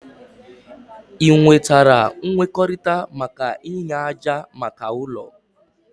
Ị nwetara nkwekọrịta maka inye ájá maka ụlọ?